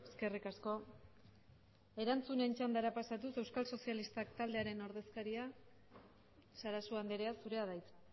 eskerrik asko erantzunen txandara pasatuz euskal sozialistak taldearen ordezkaria sarasua andrea zurea da hitza